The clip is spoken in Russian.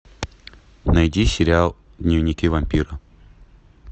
найди сериал дневники вампира